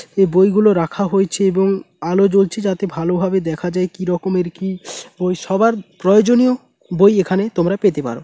এই বইগুলো রাখা হয়েছে এবং আলো জ্বলছে যাতে ভালোভাবে দেখা যায় কি রকমের কি বই সবার প্রয়োজনীয় বই এখানে তোমরা পেতে পারো।